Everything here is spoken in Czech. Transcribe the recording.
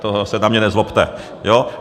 To se na mě nezlobte.